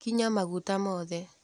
Kinya maguta mothe.